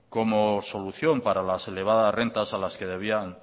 como solución para las elevadas rentas a las que debían